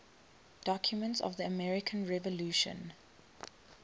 documents of the american revolution